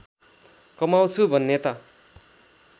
कमाउँछु भन्ने त